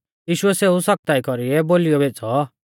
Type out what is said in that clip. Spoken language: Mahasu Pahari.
यीशुऐ सेऊ सख्ता ई कौरीऐ बोलीऔ भेज़ौ